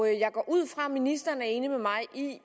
jeg går ud fra ministeren er enig med mig i at